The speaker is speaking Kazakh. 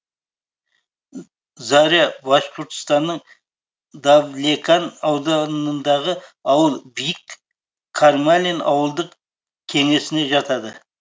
заря башқұртстанның давлекан ауданындағы ауыл бик кармалин ауылдық кеңесіне жатады